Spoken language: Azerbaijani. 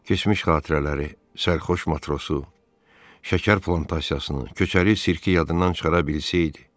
Keçmiş xatirələri, sərxoş matrosu, şəkər plantasiyasını, köçəri sirki yadından çıxara bilsəydi.